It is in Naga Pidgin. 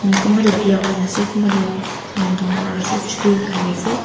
kunba tu biya hoina ase kunba tu dangor ase chutu thaki ase.